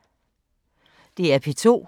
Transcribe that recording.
DR P2